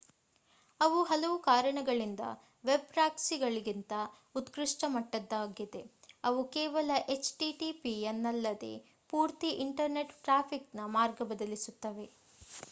ಅವು ಹಲವು ಕಾರಣಗಳಿಂದ ವೆಬ್ ಪ್ರಾಕ್ಸಿಗಳಿಗಿಂತ ಉತ್ಕೃಷ್ಟ ಮಟ್ಟದ್ದವಾಗಿವೆ: ಅವು ಕೇವಲ http ಯನ್ನಲ್ಲದೆ ಪೂರ್ತಿ ಇಂಟರ್‌ನೆಟ್ ಟ್ರಾಫಿಕ್‍‌ನ ಮಾರ್ಗ ಬದಲಿಸುತ್ತವೆ